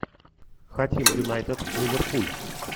хотим юнайтед ливерпуль